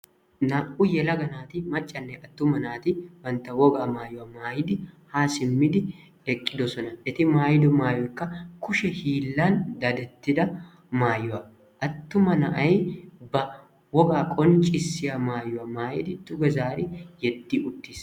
naa"u yelaga naati maccanne attumma bantta wogaa mayuwaa maayiidi haa simmidi eqidoosona. eti maayido mayoykka kushe hiillan dadetidda maayuwaa. attumma na'ay ba wogaa qonccisiyaa mayuwaa maayidi duuge zaari yeedi uuttiis.